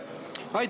Aitäh!